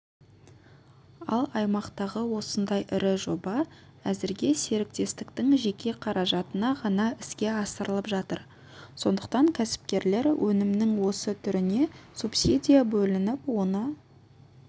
ал аймақтағы осындай ірі жоба әзірге серіктестіктің жеке қаражатына ғана іске асырылып жатыр сондықтан кәсіпкерлер өнімнің осы түріне субсидия бөлініп оны